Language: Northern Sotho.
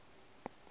go na ba ka se